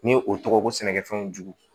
Ni o tɔgɔ ko sɛnɛkɛfɛnw jugu